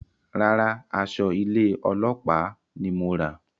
Rárá, aṣọ ilé ọlópàá ní mo rà